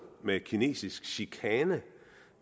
med kinesisk chikane